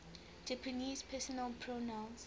japanese personal pronouns